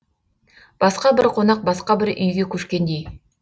басқа бір қонақ басқа бір үйге көшкендей